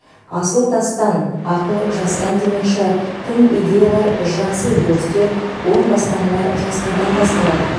асыл тастан ақыл жастан демекші тың идеялар жақсы өзгерістер оң бастамалар жастардан басталады